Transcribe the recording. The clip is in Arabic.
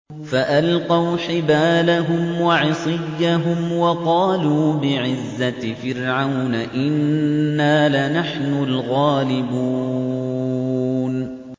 فَأَلْقَوْا حِبَالَهُمْ وَعِصِيَّهُمْ وَقَالُوا بِعِزَّةِ فِرْعَوْنَ إِنَّا لَنَحْنُ الْغَالِبُونَ